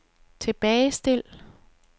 tilbagestil